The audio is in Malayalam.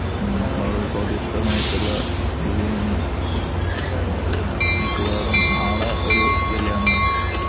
വളരെ സ്വാദിഷ്ടമായിട്ടുള്ള ബിരിയാണി മിക്കവാറും നാളെ ഒരു കല്യാണം ഉണ്ട്